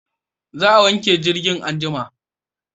Za a wanke jirgin anjima